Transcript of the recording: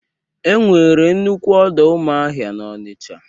Enwere nnukwu ọdọ azụmahịa n'Ọnicha.